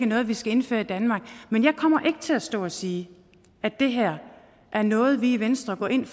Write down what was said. noget vi skal indføre i danmark men jeg kommer ikke til at stå og sige at det her er noget vi i venstre går ind